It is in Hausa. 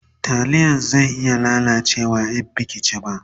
taliyan zai ya lalace in Baki ci ba